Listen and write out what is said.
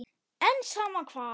En sama hvað.